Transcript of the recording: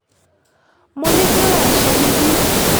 mo ní kí là ń ṣe níbí